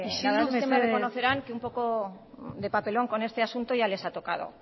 isildu mesedez la verdad es que me reconocerán que un poco de papelón con este asunto ya les ha tocado